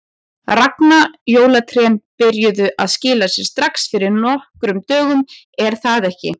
Ragna, jólatrén byrjuðu að skila sér strax fyrir nokkrum dögum er það ekki?